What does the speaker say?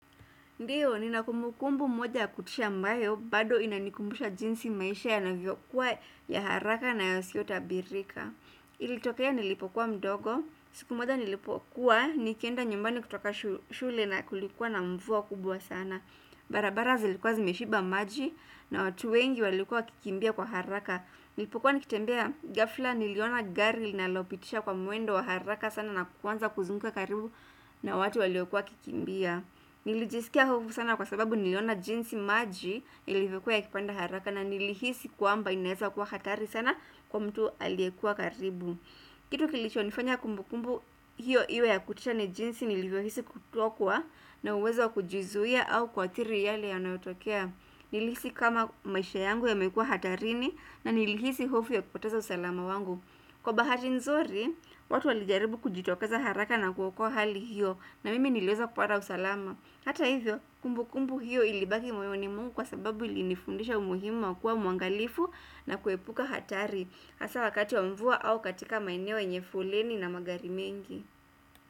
Ndiyo, ni nina kumbukumbu moja kutisha ambayo, bado inanikumbusha jinsi maisha yana vyokuwa ya haraka na yasiyo tabirika. Ilitokea nilipokuwa mdogo, siku moja nilipokuwa, nikienda nyumbani kutoka shule na kulikuwa na mvua kubwa sana. Barabara zilikuwa zimeshiba maji na watu wengi walikuwa wakikimbia kwa haraka. Nilipokuwa nikitembea, ghafla niliona gari nililopitisha kwa mwendo wa haraka sana na kuanza kuzunguka karibu na watu waliokuwa wakikimbia. Nilijisikia hofu sana kwa sababu niliona jinsi maji yaliyokuwa ya kipanda haraka na nilihisi kuamba inaweza kuwa hatari sana kwa mtu aliyekuwa karibu kitu kilicho nifanya kumbukumbu hiyo iwe ya kutisha ni jinsi nilivyohisi kutokua na uwezo kujizuia au kwa athiri yale ya yanayotokea Nilihisi kama maisha yangu yamekua hatarini na nilihisi hofu ya kupoteza usalama wangu Kwa bahati nzuri, watu walijaribu kujitokeza haraka na kuoakua hali hiyo na mimi nileweza kupata usalama. Hata hivyo, kumbu kumbu hiyo ilibaki mwoyoni mwangu kwa sababu ili nifundisha umuhimu wa kuwa muangalifu na kuepuka hatari. Hasa wakati wa mvua au katika maeneo yenye foleni na magari mengi.